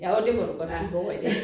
Ja og det må du godt sige Bog og Idé